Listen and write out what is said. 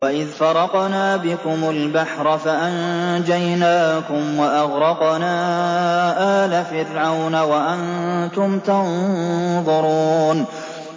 وَإِذْ فَرَقْنَا بِكُمُ الْبَحْرَ فَأَنجَيْنَاكُمْ وَأَغْرَقْنَا آلَ فِرْعَوْنَ وَأَنتُمْ تَنظُرُونَ